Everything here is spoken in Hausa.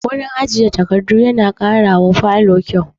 Wurin ajiye takardu na ƙara wa falo kyau